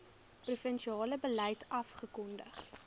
provinsiale beleid afgekondig